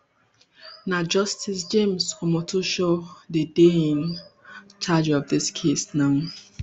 na justice james omotosho dey dey in charge of dis case now